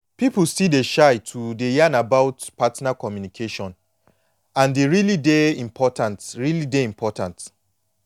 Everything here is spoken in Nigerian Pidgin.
people still dey shy to dey yan about partner communication and e really dey important really dey important